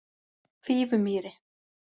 Fífumýri